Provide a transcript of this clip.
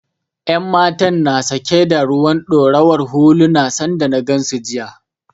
Yan matan na sake da ruwan ɗorawar huluna sanda na gansu jiya